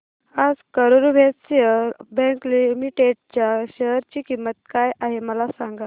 आज Karur Vysya bank limited च्या share ची किंमत काय आहे मला सांगा